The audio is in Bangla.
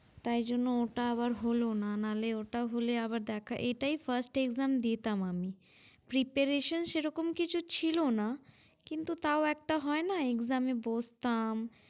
তাই জন্য ওটা আবার হলো না, না লে ওটা হলে আবার দেখা~ এটাই first exam দিতাম আমি Preparation সেরকম কিছু ছিলো না, কিন্তু তাও একটা হয় না exam এ বসতাম।